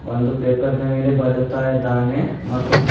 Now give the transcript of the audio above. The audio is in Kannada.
ಒಂದು ಪೇಪರ್ ನ ಮೇಲೆ ಬರೆಯುತ್ತಾ ಇದ್ದಾನೆ ಮತ್ತು--